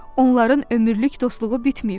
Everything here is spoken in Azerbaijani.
Onların ömürlük dostluğu bitməyib.